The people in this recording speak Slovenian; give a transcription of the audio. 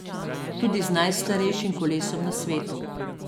Tudi z najstarejšim kolesom na svetu.